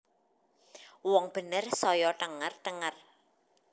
Wong bener saya thenger thenger